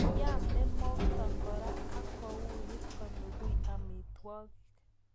Yamee mokto koraa ak kouiit kelugui amitwakiik